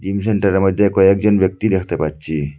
Gym সেন্টারের মইধ্যে কয়েকজন ব্যক্তি দেখতে পাচ্ছি।